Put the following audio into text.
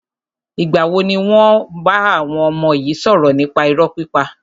Ìgbà wo ni wàá bá àwọn ọmọ yi sọ̀rọ̀ nípa irọ́ pípa?